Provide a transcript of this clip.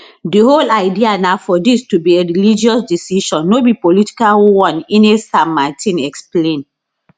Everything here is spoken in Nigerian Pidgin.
di whole idea na for dis to be a religious decision no be political one ines san martin explain